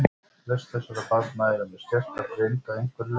Flest þessara barna eru með skerta greind að einhverju leyti.